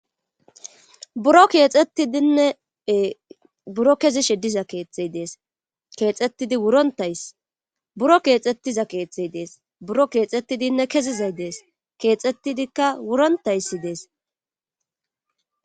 Buro kexetidinne buro kezishe diza kethay dees buro kexeti wurontay dees, buro kexeti kezisay dees, buro kexetidikka wurontay dees kexetidika wuronitayis dessi